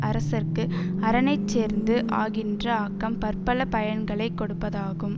அரசர்க்கு அரனைச் சேர்ந்து ஆகின்ற ஆக்கம் பற்பல பயன்களைக் கொடுப்பதாகும்